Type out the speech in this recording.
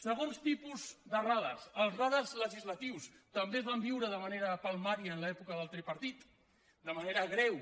segon tipus de radars els radars legislatius també es van viure de manera palmària en l’època del tripartit de manera greu